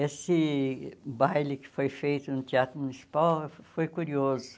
Esse baile que foi feito no Teatro Municipal foi curioso.